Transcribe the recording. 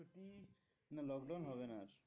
না lockdown হবে না আর।